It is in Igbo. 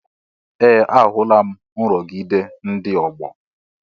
Ee! Ahụla m nrụgide ndị ọgbọ.